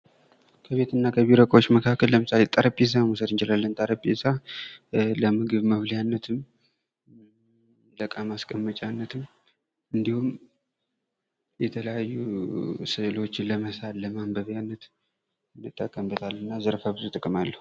ከቤትና ከቢሮዎች መካከል ለምሳሌ ጠረጴዛ መውሰድ እንችላለን ጠረጴዛ ለምግብ መብያነትም ለዕቃ ማስቀመጫነትም የተለያዩ ስሎችን ለመሳል ለማንበብነትም እንጠቀምበታለን እና ብዙ ዘርፈ ጥቅማል አለው ::